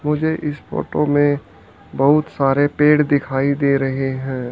मुझे इस फोटो में बहुत सारे पेड़ दिखाई दे रहे हैं।